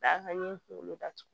A ka n ye kunkolo datugu